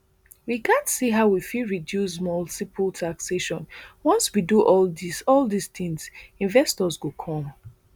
we gatz see how we fit reduce multiple taxation once we do all dis all dis tins investors go come